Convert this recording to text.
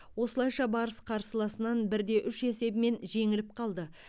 осылайша барыс қарсыласынан бірде үш есебімен жеңіліп қалды